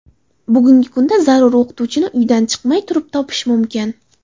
Bugungi kunda zarur o‘qituvchini uydan chiqmay turib topish mumkin.